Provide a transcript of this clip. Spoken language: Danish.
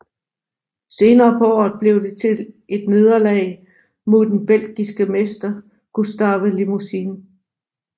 Senere på året blev det til et nederlag mod den belgiske mester Gustave Limousin